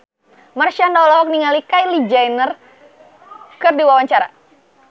Marshanda olohok ningali Kylie Jenner keur diwawancara